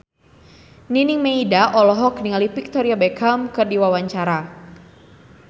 Nining Meida olohok ningali Victoria Beckham keur diwawancara